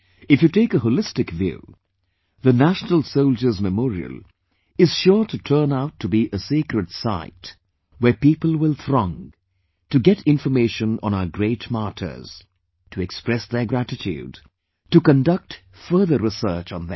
If you take a holistic view, the National Soldiers' Memorial is sure to turn out to be a sacred site, where people will throng, to get information on our great martyrs, to express their gratitude, to conduct further research on them